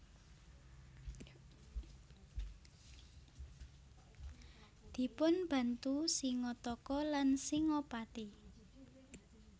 Dipunbantu Singataka lan Singapati